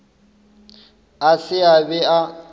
a se a be a